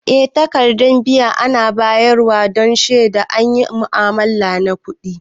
Eh takaddan biya ana bayar wa don shedawa an yi mu'amala na kudi.